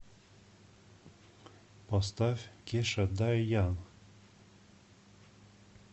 поставь кеша дай янг